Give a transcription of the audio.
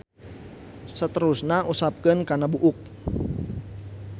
Saterusna usapkeun kana buuk.